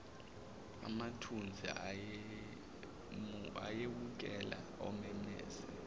amathunzi ayewukela umemeze